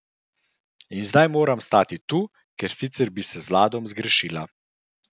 In zdaj moram stati tu, ker sicer bi se z Ladom zgrešila.